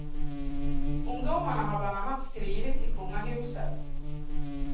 Ungdomarna har bland annat skrivit till kungahuset.